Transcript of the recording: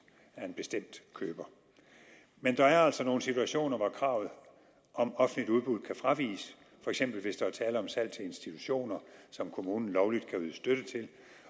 af en bestemt køber men der er altså nogle situationer hvor kravet om offentligt udbud kan fraviges for eksempel hvis der er tale om salg til institutioner som kommunen lovligt kan yde støtte til